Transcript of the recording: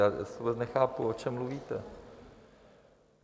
Já vůbec nechápu, o čem mluvíte.